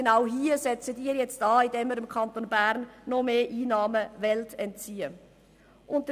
Genau hier setzen Sie an, indem Sie dem Kanton Bern noch mehr Einnahmen entziehen wollen.